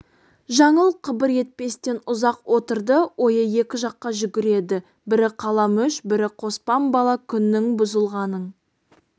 жаңыл қыбыр етпестен ұзақ отырды ойы екі жаққа жүгіреді бірі қаламүш бірі қоспан бала күннің бұзылғанын